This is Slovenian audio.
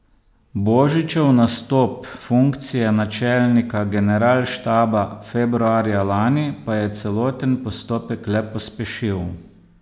Božičev nastop funkcije načelnika generalštaba februarja lani pa je celoten postopek le pospešil.